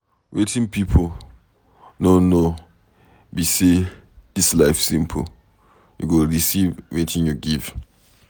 Wetin people no know be say dis life simple, you go receive wetin you give.